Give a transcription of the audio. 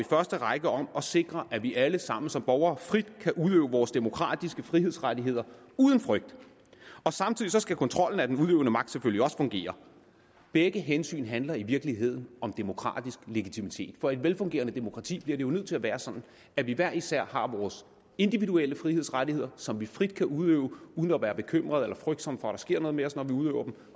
første række om at sikre at vi alle sammen som borgere frit kan udøve vores demokratiske frihedsrettigheder uden frygt og samtidig skal kontrollen af den udøvende magt selvfølgelig også fungere begge hensyn handler i virkeligheden om demokratisk legitimitet for i et velfungerende demokrati bliver det jo nødt til at være sådan at vi hver især har vores individuelle frihedsrettigheder som vi frit kan udøve uden at være bekymrede eller frygtsomme for at der sker noget med os når vi udøver dem